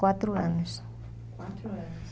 Quatro anos. Quatro anos.